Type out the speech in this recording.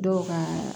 Dɔw ka